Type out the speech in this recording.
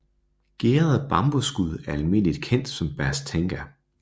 Gæret bambusskud er almindeligt kendt som bas tenga